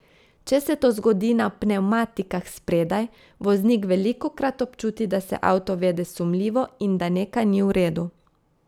Če se to zgodi na pnevmatikah spredaj, voznik velikokrat občuti, da se avto vede sumljivo in da nekaj ni v redu.